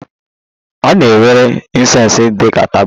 A na-ewere Incest dị ka taboo